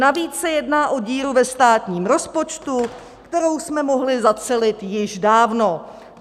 Navíc se jedná o díru ve státním rozpočtu, kterou jsme mohli zacelit již dávno.